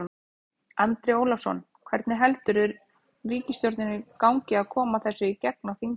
Andri Ólafsson: Hvernig heldurðu ríkisstjórninni gangi að koma þessu í gegn á þingi?